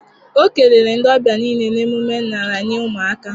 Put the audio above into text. Ọ kelere ndị ọbịa niile na emume nraranye ụmụaka